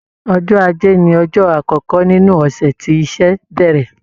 Ọjọ́ Ajé ni ọjọ́ àkọ́kọ́ nínú ọ̀sẹ̀ tí iṣẹ́ bẹ̀rẹ̀.